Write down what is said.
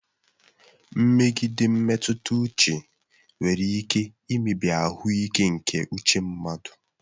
Mmegide mmetụta uche nwere ike imebi ahụike nke uche mmadụ.